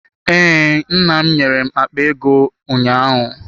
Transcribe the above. Ee, nna m nyere m akpa ego ụnyaahụ.